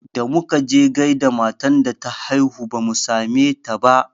Da muka je gaida matan da ta haihu bamu same ta ba